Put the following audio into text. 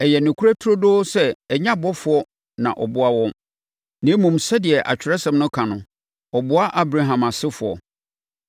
Ɛyɛ nokorɛ turodoo sɛ ɛnyɛ abɔfoɔ na ɔboa wɔn. Na mmom, sɛdeɛ Atwerɛsɛm no ka no, “Ɔboa Abraham asefoɔ.”